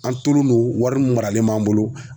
An tolen don wari mun maralen b'an bolo.